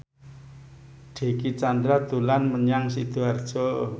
Dicky Chandra dolan menyang Sidoarjo